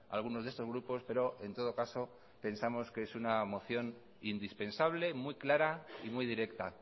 algunos de estos grupos pero en todo caso pensamos que es una moción indispensable muy clara y muy directa